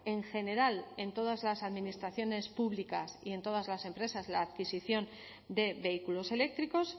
en general en todas las administraciones públicas y en todas las empresas la adquisición de vehículos eléctricos